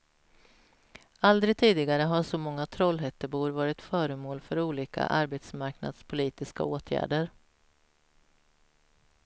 Aldrig tidigare har så många trollhättebor varit föremål för olika arbetsmarknadspolitiska åtgärder.